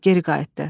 Geri qayıtdı.